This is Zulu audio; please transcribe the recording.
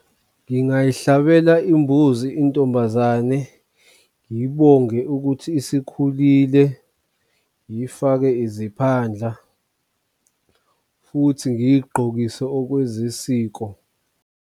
Ngingayihlabela imbuzi intombazane, ngiyibonge ukuthi isikhulile, ngiyifake iziphandla futhi ngiyigqokise okwezisiko.